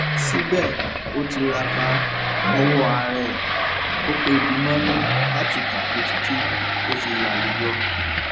síbẹ ó tiraka lowó ara ẹ ó pẹbi mọnú láti kàwé títí tó fi lálùyọ